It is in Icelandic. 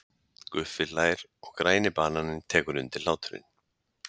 Guffi hlær og Græni bananinn tekur undir hláturinn.